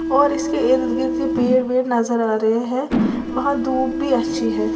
और इसके ईर्द गीर्द पेड़ वेड नजर आ रहे है वहां धूप भी अच्छी है।